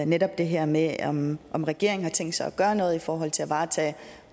netop det her med om om regeringen har tænkt sig at gøre noget i forhold til at varetage